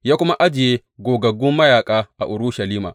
Ya kuma ajiye gogaggu mayaƙa a Urushalima.